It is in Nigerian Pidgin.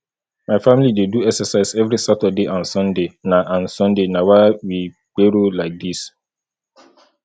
my family dey do exercise every saturday and sunday na and sunday na why we pero like dis